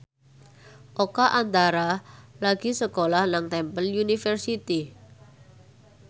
Oka Antara lagi sekolah nang Temple University